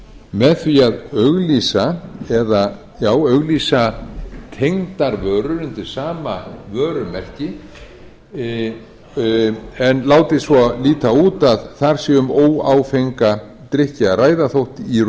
með því að auglýsa tengdar vörur undir sama vörumerki en látið svo líta út að þar sé um óáfenga drykki að ræða þó í